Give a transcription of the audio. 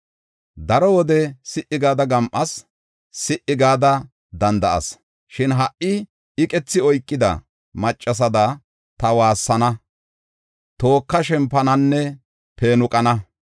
Daro wode si77i gada gam7as; si77i gada danda7as. Shin ha77i iqethi oykida maccasada ta waassana; tooka shempananne peenuqana.